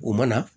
O mana